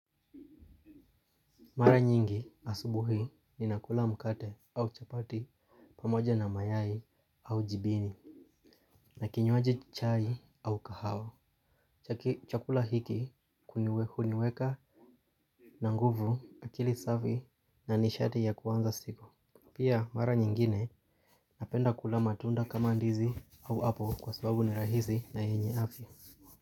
Mara nyingi asubuhi ninakula mkate au chapati pamoja na mayai au jibini. Na kinywaji chai au kahawa. Chakula hiki huniweka na nguvu akili safi na nishati ya kuanza siku. Pia mara nyingine napenda kula matunda kama ndizi au apple kwa sababu ni rahisi na yenye afya.